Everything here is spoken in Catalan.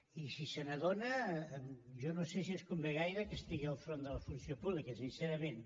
i si se n’adona jo no sé si ens convé gaire que estigui al capdavant de la funció pública sincerament